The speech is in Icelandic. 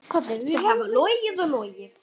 Þau hafa logið og logið.